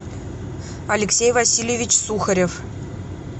алексей васильевич сухарев